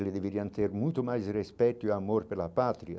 Eles deveriam ter muito mais respeito e amor pela Pátria.